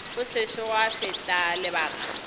go sešo gwa feta lebaka